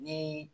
Ni